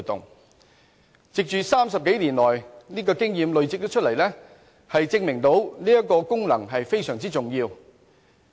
香港累積了30多年這方面的經驗，證明這個功能是非常重要的。